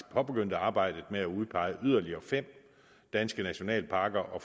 påbegyndte arbejdet med at udpege yderligere fem danske nationalparker og